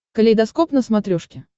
калейдоскоп на смотрешке